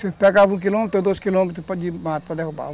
Você pegava um quilômetro, dois quilômetros de mato para derrubar.